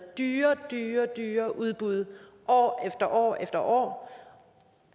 dyre dyre dyre udbud år år efter år